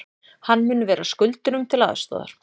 Hann mun vera skuldurum til aðstoðar